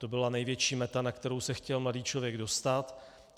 To byla největší meta, na kterou se chtěl mladý člověk dostat.